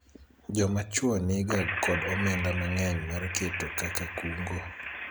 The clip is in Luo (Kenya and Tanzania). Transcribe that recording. joma chwo niga kod omenda mang'eny mar keto kaka kungo